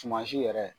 Suman si yɛrɛ